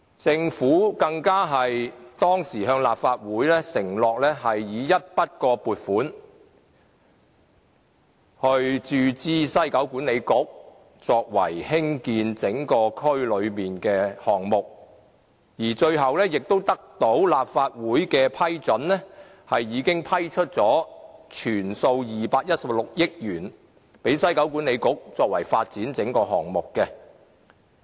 政府當時更向立法會承諾以一筆過撥款注資西九文化區管理局，作為興建整個區內的項目，而最後也得到立法會的批准，批出全數216億元給西九文化區管理局，作為發展整個項目。